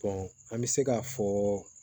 an bɛ se k'a fɔ